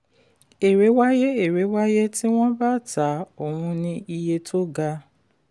èrè wáyé èrè wáyé tí wọ́n bá ta ohun ní iye tó ga.